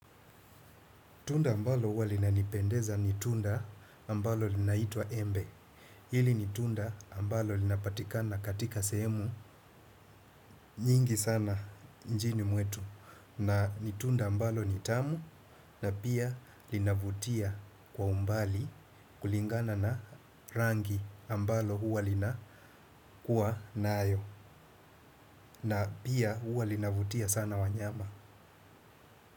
Tunda ambalo uwa linanipendeza ni tunda ambalo linaitwa embe. Hili ni tunda ambalo linapatikana katika sehemu nyingi sana njini mwetu. Na ni tunda ambalo nitamu na pia linavutia kwa umbali kulingana na rangi ambalo uwa lina kuwa nayo. Na pia uwa linavutia sana wanyama.